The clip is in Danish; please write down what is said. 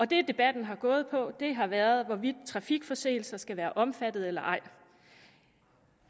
det debatten har gået på har været hvorvidt trafikforseelser skal være omfattet eller ej